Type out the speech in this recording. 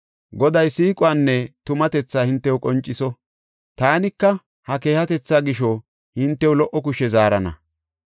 Goday siiquwanne tumatethaa hintew qonciso; taanika ha keehatetha gisho hintew lo77o kushe zaarana.